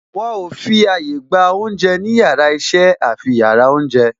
Wọn ò fi àyà gba oúnjẹ ní yàrá iṣẹ́ àfi yàrá oúnjẹ